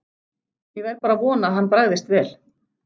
Ég verð bara að vona að hann bragðist vel.